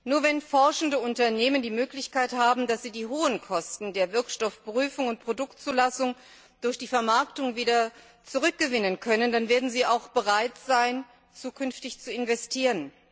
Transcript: Nur wenn forschende Unternehmen die Möglichkeit haben, die hohen Kosten der Wirkstoffprüfung und Produktzulassung durch die Vermarktung wieder zurückzugewinnen, werden sie auch bereit sein, zukünftig zu investieren.